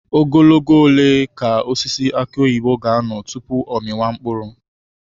Ogologo oge ole ka osisi aki oyibo ga-anọ tupu ọ amịa mkpụrụ?